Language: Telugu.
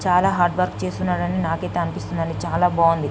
చాలా హార్డ్ వర్క్ చేస్తున్నాడండి నాకైతే అనిపిస్తుంది చాలా బాగుంది.